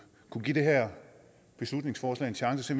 give det her beslutningsforslag en chance